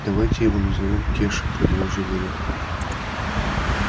давайте его назовём кеша предложила я